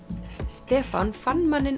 Stefán fann manninn